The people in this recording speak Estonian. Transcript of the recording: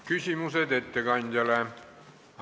Küsimusi ettekandjale ei ole.